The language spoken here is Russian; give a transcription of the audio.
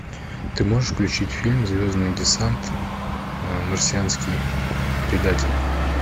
ты можешь включить фильм звездный десант марсианский предатель